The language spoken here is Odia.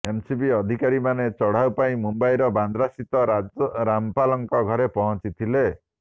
ଏନସିବି ଅଧିକାରୀମାନେ ଚଢଉ ପାଇଁ ମୁମ୍ବାଇର ବାନ୍ଦ୍ରାସ୍ଥିତ ରାମପାଲଙ୍କ ଘରେ ପହଞ୍ଚିଥିଲେ